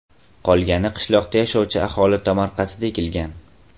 Qolgani qishloqda yashovchi aholi tomorqasida ekilgan.